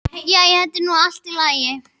Jæja, þetta er nú allt í lagi.